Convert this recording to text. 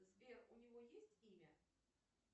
сбер у него есть имя